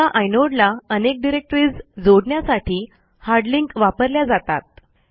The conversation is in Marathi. एका आयनोडला अनेक डिरेक्टरीज जोडण्यासाठी हार्ड लिंक वापरल्या जातात